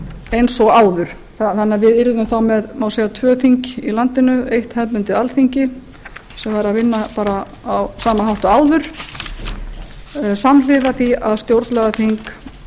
eins og áður þannig að við yrðum þá með tvö þing í landinu eitt hefðbundið alþingi sem væri að vinna á sama hátt og áður samhliða því að stjórnlagaþing